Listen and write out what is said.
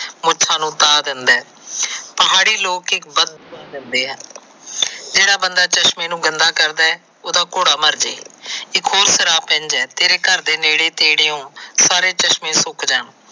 ਮੁੱਛਾ ਨੂੰ ਤਾਹ ਦਿੰਦਾ। ਪਹਾੜੀ ਲੋਕ ਇਕ ਜਿਹੜਾ ਬੰਦਾ ਚਸ਼ਮੇ ਨੂੰ ਗੰਦਾ ਕਰਦਾ ਹੈ ਓਹਦਾ ਘੋੜਾ ਮਰਜੇ ਇਕ ਹੋਰ ਸ਼ਰਾਪ ਦਿੰਦਾ ਹੈ। ਤੇਰੇ ਘਰ ਦੇ ਨੇੜੇ ਤੇਰੀਓ ਸਾਰੇ ਚਸ਼ਮੇ ਸੁੱਕ ਜਾਣ।